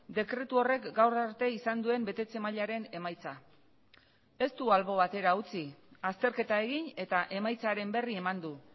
dekretu horrek gaur arte izan duen betetze mailaren emaitza ez du albo batera utzi azterketa egin eta emaitzaren berri eman du